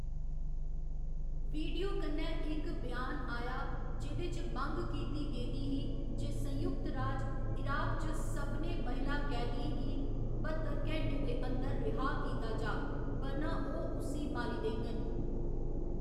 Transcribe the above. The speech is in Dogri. वीडियो कन्नै इक ब्यान आया जेह्‌‌‌दे च मंग कीती गेदी ही जे संयुक्त राज इराक च सभनें महिला कैदियें गी बत्तर घैंटें दे अंदर रिहाऽ कीता जाऽ बरना ओह्‌‌ उस्सी मारी देङन।